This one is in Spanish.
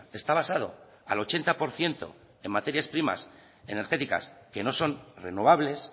está basado al ochenta por ciento en materias primas energéticas que no son renovables